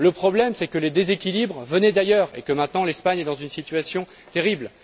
Le problème est que les déséquilibres venaient d'ailleurs et que maintenant, l'Espagne est dans une situation terrible.